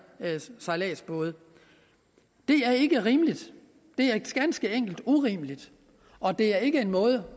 lystbåde det er ikke rimeligt det er ganske enkelt urimeligt og det er ikke en måde